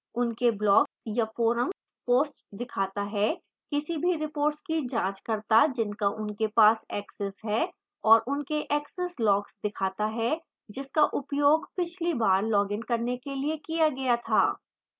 उनके blog या forum posts दिखाता है किसी भी reports की जाँच करता जिनका उनके पास access है और उनके access logs दिखाता है जिसका उपयोग पिछली बार login करने के लिए किया गया था